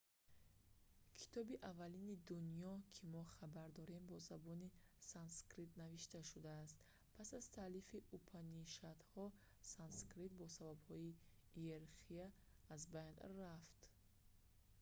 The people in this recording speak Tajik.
китоби аввалини дунё ки мо хабар дорем бо забони санскритӣ навишта шудааст пас аз таълифи упанишадҳо санскрит бо сабабҳои иерархия аз байн рафт